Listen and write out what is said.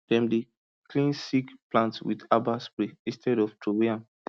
dem dey clean sick plant with herbal spray instead of throway am